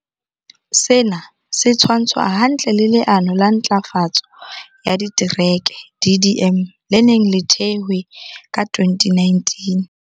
Sena se tshwantshwa hantle le Le ano la Ntlafatso ya Ditereke, DDM, le neng le thehwe ka 2019.